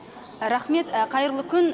рақмет қайырлы күн